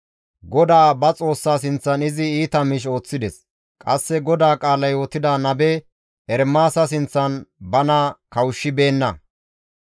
GODAA ba Xoossaa sinththan izi iita miish ooththides; qasse GODAA qaala yootida nabe Ermaasa sinththan bana kawushshibeenna.